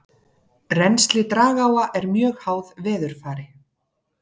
Rennsli dragáa er mjög háð veðurfari.